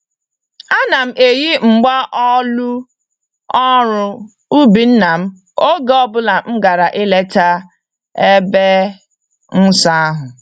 Ana m eyi mgba-olu ọrụ-ubi nna m oge ọ bụla m gàrà ileta ebe nsọ ahụ.